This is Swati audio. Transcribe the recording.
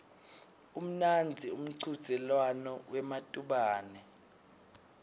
umnandzi umchudzelwano wematubane